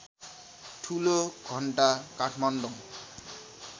ठुलो घण्टा काठमाडौँ